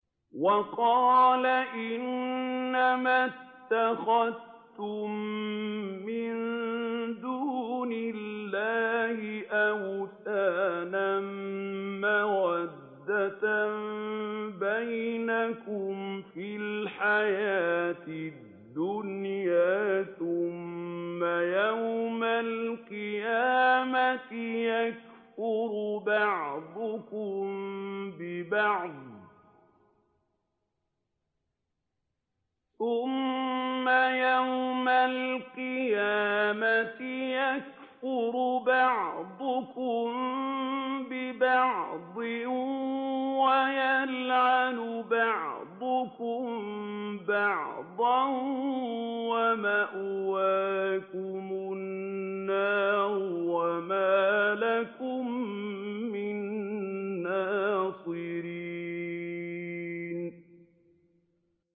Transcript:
وَقَالَ إِنَّمَا اتَّخَذْتُم مِّن دُونِ اللَّهِ أَوْثَانًا مَّوَدَّةَ بَيْنِكُمْ فِي الْحَيَاةِ الدُّنْيَا ۖ ثُمَّ يَوْمَ الْقِيَامَةِ يَكْفُرُ بَعْضُكُم بِبَعْضٍ وَيَلْعَنُ بَعْضُكُم بَعْضًا وَمَأْوَاكُمُ النَّارُ وَمَا لَكُم مِّن نَّاصِرِينَ